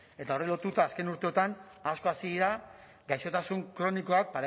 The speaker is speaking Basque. eta horri lotuta azken urteotan asko hazi dira gaixotasun kronikoak